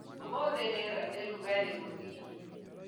Ũmũthĩ rĩera nĩ rũgarĩ mũnini